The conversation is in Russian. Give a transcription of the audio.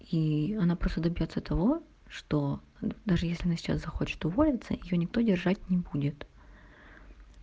и она просто добьётся того что даже если она сейчас захочет уволиться её никто держать не будет